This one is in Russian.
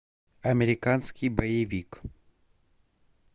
американский боевик